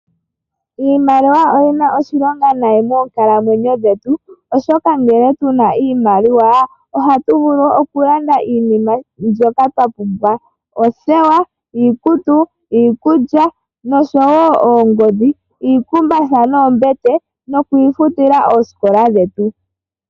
Iimaliwa oyina oshilonga nayi moonkalamwenyo dhetu. Oshoka ngele tuna iimaliwa ohatu vulu oku landa iinima mbyoka twa pumbwa. Oothewa, iikutu, iikulya nosho woo oongodhi , iikumbatha noombete nokwiifutila oosikola dhetu.